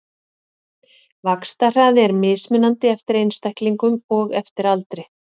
Vaxtarhraði er mismunandi eftir einstaklingum og eftir aldri.